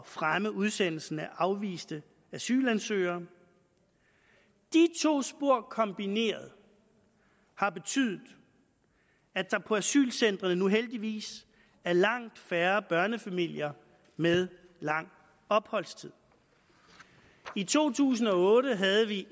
fremme udsendelsen af afviste asylansøgere de to spor kombineret har betydet at der på asylcentrene nu heldigvis er langt færre børnefamilier med lang opholdstid i to tusind og otte havde vi